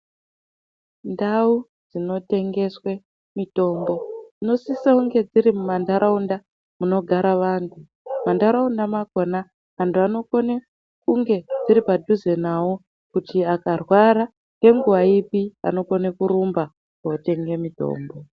Ndau dzinotengeswe mitombo dzinosise kunge dziri mumanharaunda dzinogara vantu. Manharaunda akona anhu anokona kunge ari padhuze nawo kut akarwara nenguva ipi, vanokone kurumba kootenge mitombo.